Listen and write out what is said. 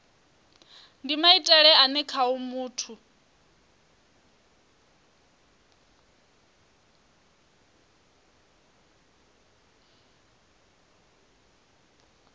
ndi maitele ane khao muthu